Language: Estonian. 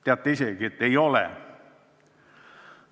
Teate isegi, et ei ole.